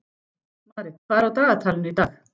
Marit, hvað er á dagatalinu í dag?